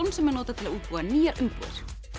sem er notað til að útbúa nýjar umbúðir